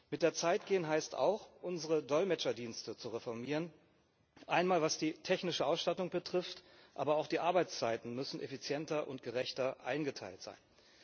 Mit der Zeit gehen heißt auch, unsere Dolmetscherdienste zu reformieren Einmal was die technische Ausstattung betrifft, aber auch die Arbeitszeiten müssen effizienter und gerechter eingeteilt sein.